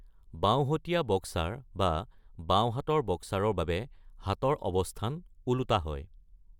বাওঁহতীয়া boxer বা বাওঁহাতৰ বক্সাৰৰ বাবে হাতৰ অৱস্থান ওলোটা হয়।